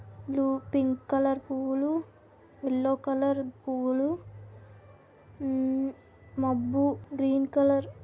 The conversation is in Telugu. లో పింక్ కలర్ పువ్వులు యెల్లో కలర్ పువ్వులు ఉహ్హ మబ్బు గ్రీన్ కలర్.